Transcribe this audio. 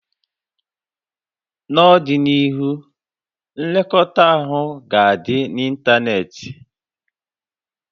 N'ọdịnihu, nlekọta ahụ ga-adị n'ịntanetị